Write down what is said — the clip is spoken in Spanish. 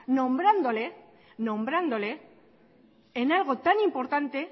nombrándole en algo tan importante